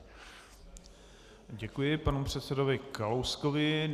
Děkuji panu předsedovi Kalouskovi.